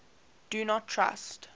do not trust